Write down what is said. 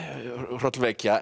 hrollvekja